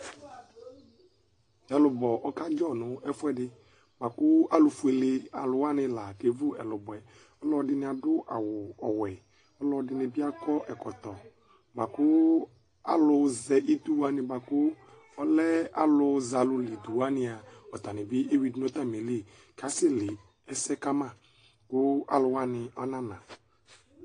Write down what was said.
Ɛlʋbɔ ɔkadzɔ nʋ ɛfʋɛdi, bʋakʋ alʋfuele alʋwani lakevʋ ɛkʋbɔ yɛ alʋɛdini adʋ awʋ ɔwɛ, alɔdini bi akɔ ɛkʋtɔ bʋakʋ, alʋzɛ idʋwani bʋakʋ ɔlɛ akʋzɛalʋlidʋ, wani a ɔtanibi ewidʋ nʋ akʋwanili kʋ asɛle ɛsɛ kama go alʋwani anana